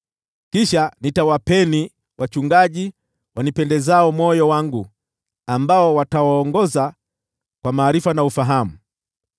Kisha nitawapeni wachungaji wanipendezao moyo wangu, ambao watawaongoza kwa maarifa na ufahamu.